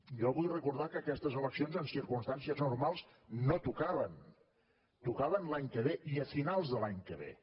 jo vull recordar que aquestes eleccions en circumstàncies normals no tocaven tocaven l’any que ve i a finals de l’any que ve